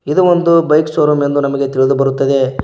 ಇದು ಒಂದು bike showroom ಎಂದು ನಮಗೆ ತಿಳಿದುಬರುತ್ತದೆ.